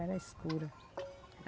Era escura.